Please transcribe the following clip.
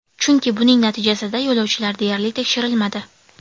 Chunki buning natijasida yo‘lovchilar deyarli tekshirilmadi.